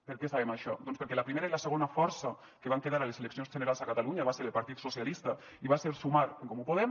per què sabem això doncs perquè la primera i la segona força que van quedar a les eleccions generals a catalunya va ser el partit socialista i va ser sumar en comú podem